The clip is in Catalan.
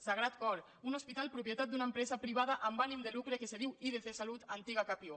sagrat cor un hospital propietat d’una empresa privada amb ànim de lucre que se diu idc salut antiga capio